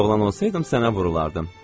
Əgər oğlan olsaydım sənə vurulardım.